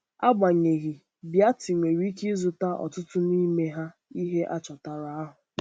Agbanyeghị, Beatty nwere ike ịzụta ọtụtụ n’ime ihe achọtara ahụ.